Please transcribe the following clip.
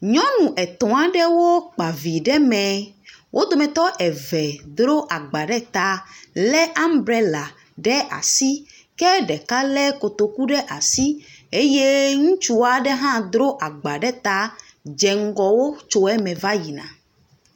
Nyɔnu etɔ aɖewo kpa vi ɖe me. Wodometɔ eve dro agba ɖe ta lé ambrela ɖe asi ke ɖeka lé kotoku ɖe asi eye ŋutsu aɖe hã dro agba ɖe ta dze ŋgɔ wo tso eme va yi na.